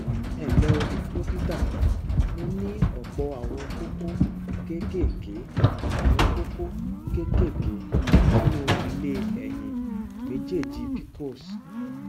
ẹnlẹ o dókítà mo ní ọpọ àwọn kókó kéékèèké àwọn kókó kéékèèké nínú ilé ẹyin méjèèjì pcos